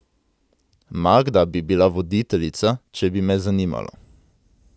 Magda bi bila voditeljica, če bi me zanimalo.